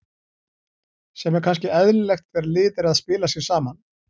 Sem er kannski eðlilegt þegar lið er að spila sig saman.